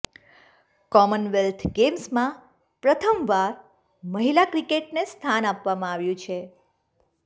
Commonwealth ગેમ્સમાં પ્રથમવાર મહિલા ક્રિકેટને સ્થાન આપવામાં આવ્યું છે